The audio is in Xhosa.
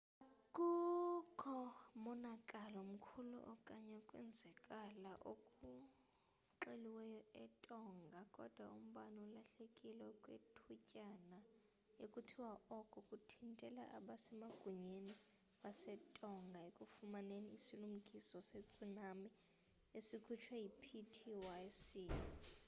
akukho monakalo mkhulu okanye ukwenzakala okuxeliweyo etonga kodwa umbane ulahlekile okwethutyana ekuthiwa oko kuthintele abasemagunyeni basetonga ekufumaneni isilumkiso se-tsunami esikhutshwe yi-ptwc